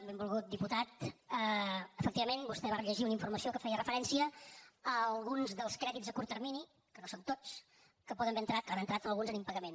benvolgut diputat efectivament vostè va rellegir una informació que feia referència a alguns dels crèdits a curt termini que no són tots que poden haver entrat n’han entrat alguns en impagament